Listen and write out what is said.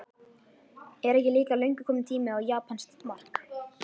Er ekki líka löngu kominn tími á japanskt mark?